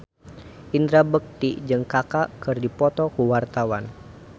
Indra Bekti jeung Kaka keur dipoto ku wartawan